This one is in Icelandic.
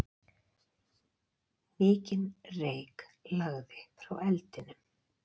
Mikinn reyk lagði frá eldinum.